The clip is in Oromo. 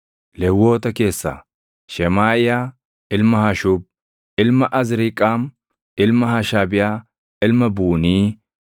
Lewwota Keessaa: Shemaaʼiyaa ilma Hashuub, ilma Azriiqaam, ilma Hashabiyaa, ilma Buunii;